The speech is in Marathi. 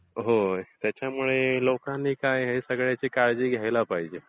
हो, त्याच्यामुळे लोकांनी या सगळ्याची काळजी घ्यायला पाहिजे.